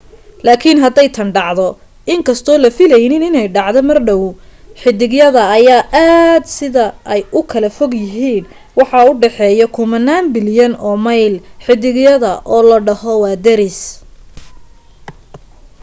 laakin haday tan dhacdo inkastoo la filanaynin inay dhacdo mar dhaw xidigyada ayaa aad sida ay u kala fog yihiin waxaa u dhexeeyo kumanaan bilyan oo mayl xidigyada oo la dhaho waa daris